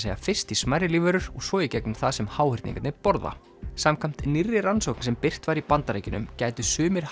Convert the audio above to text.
segja fyrst í smærri lífverur og svo í gegnum það sem háhyrningarnir borða samkvæmt nýrri rannsókn sem birt var í Bandaríkjunum gætu sumir